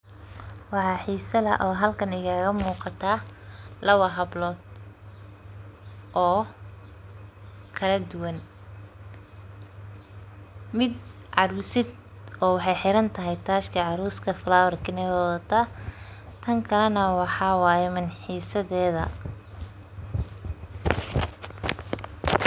Waxaa xiisa leh oo halkan igaaga muqataa, lawa hablood oo kala duwan ,mid caruusad oo waxey xiran tahay tajka caruuska flower ka na wey wadataa. Tan kale na waxaa waye milxisadeeda.